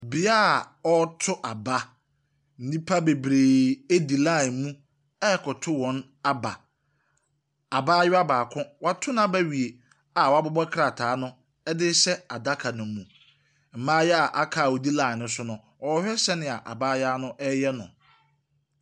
Bea ɔreto aba. Nnipa bebree di line mu ɛrekɔto wɔn aba. Abaayewa baako, wato n’aba awie a ɔrebobɔ krataa no de rehyɛ adaka ne mu. Mmaayewa a aka a wɔdi line ne so no, wɔrehwɛ sɛdeɛ abaayewa no ɛreyɛ no.